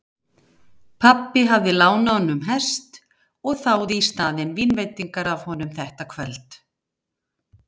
Pabbi hafði lánað honum hest og þáði í staðinn vínveitingar af honum þetta kvöld.